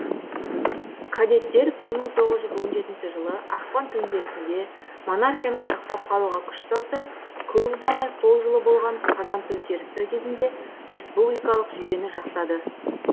кадеттер бір мың тоғыз жүз он жетінші жылы ақпан төңкерісінде монархияны сақтап қалуға күш салса көп ұзамай сол жылы болған қазан төңкерісі кезінде республикалық жүйені жақтады